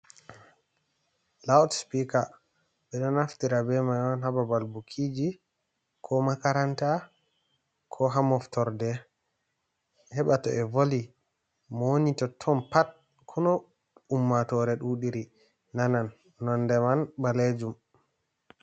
Laut spiker ɓe ɗo naftira be mai on ha babal bukiji, ko makaranta, ko ha moftorde, heɓa to ɓe voli mo woni to ton pat ko noi ummatore ɗuɗi ri nanan, nonde man ɓalejum.